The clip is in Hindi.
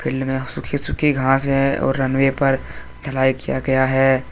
फील्ड में सुखी सुखी सुखी घास है और रनवे पर ढलाई किया गया है।